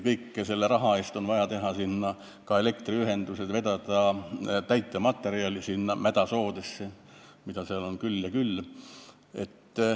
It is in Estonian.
Tõesti, selle raha eest on vaja teha ka elektriühendused, vedada täitematerjali mädasoodesse, mida seal on küll ja küll.